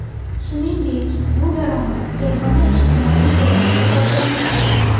Shuningdek, bu daromad yagona ijtimoiy to‘lovga tortilmaydi.